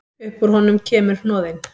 Upp úr honum kemur hnoðinn.